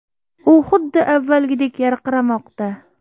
U xuddi avvalgidek yarqiramoqda”.